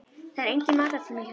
Það er enginn matartími hjá þeim.